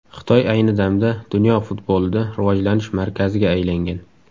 Xitoy ayni damda dunyo futbolida rivojlanish markaziga aylangan.